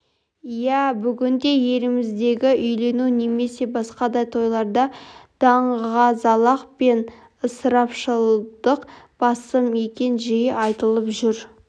иә бүгінде еліміздегі үйлену немесе басқа да тойларда даңғазалық пен ысырапшылдық басым екені жиі айтылып жүр